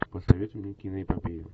посоветуй мне киноэпопею